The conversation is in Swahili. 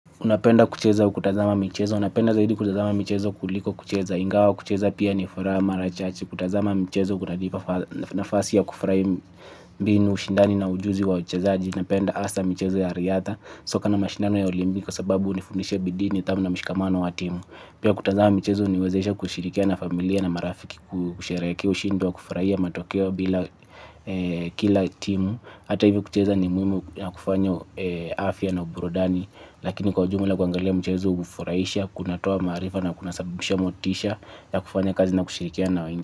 Unapenda kucheza au kutazama michezo, napenda zaidi kutazama michezo kuliko kucheza ingawa kucheza pia ni furaha mara chache. Kutazama michezo kutanipa nafasi ya kufahi mbinu ushindani na ujuzi wa uchezaji. Unapenda hasa michezo ya riadha soka na mashindano ya olimbiki kwa sababu unifundisha bidii nidhamu na mshikamano wa timu. Pia kutazama michezo uniwezesha kushirikiana na familia na marafiki kusherekea ushindi wa kufurahia matokeo bila kila timu. Hata hivyo kucheza ni muhimu ya kufanya afya na burudani. Lakini kwa ujumla kuangalia mchezo ufuraisha. Kunatoa maarifa na kunasabisha motisha ya kufanya kazi na kushirikia na wengi.